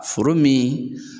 Foro min